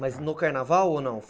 Mas no carnaval ou não?